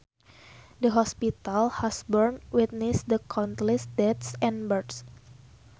The hospital has born witness to countless deaths and births